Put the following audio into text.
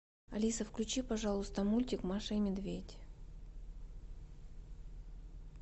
алиса включи пожалуйста мультик маша и медведь